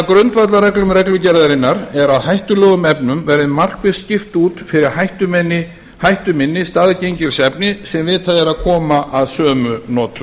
grundvallarreglum reglugerðarinnar er að hættulegum efnum verði markvisst skipt út fyrir hættuminni staðgengilsefni sem vitað er að koma að sömu notum